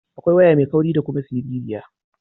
Akwai waya mai kauri da kuma siririya.